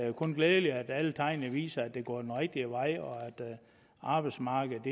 jo kun glædeligt at alle tegn viser at det går den rigtige vej og at arbejdsmarkedet